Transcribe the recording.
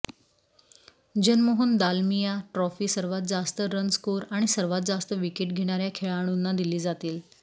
Janmohan Dalmiya trophy सर्वात जास्त run score आणि सर्वांत जास्त विकेट घेणाऱ्या खेळाडूंना दिले जातील